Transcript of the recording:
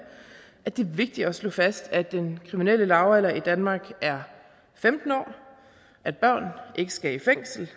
at det er vigtigt at slå fast at den kriminelle lavalder i danmark er femten år og at børn ikke skal i fængsel